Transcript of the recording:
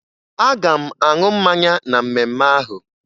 Aga m aṅụ mmanya na mmemme ahụ